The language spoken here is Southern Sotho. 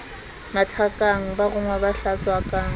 mathakang ba rongwa ba hlatswakang